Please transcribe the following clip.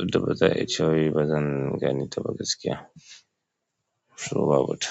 wadda ba za a yi cewa ba zan gane ta ba gaskiya. So babuta.